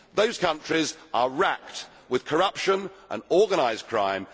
Those countries are wracked with corruption and organised crime.